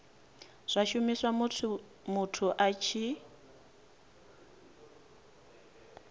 zwa shumiswa musi muthu a